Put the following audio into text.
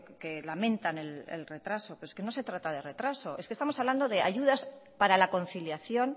que lamentan el retraso pero es que no se trata de retraso es que estamos hablando de ayudas para la conciliación